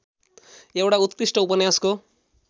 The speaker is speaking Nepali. एउटा उत्कृष्ट उपन्यासको